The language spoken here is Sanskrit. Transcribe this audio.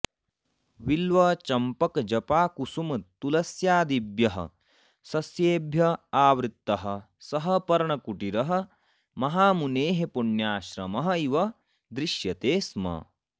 बिल्वचम्पकजपाकुसुमतुलस्यादिभ्यः सस्येभ्य आवृतः सः पर्णकुटीरः महामुनेः पुण्याश्रमः इव दृश्यते स्म